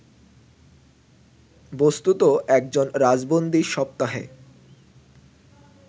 বস্তুত একজন রাজবন্দী সপ্তাহে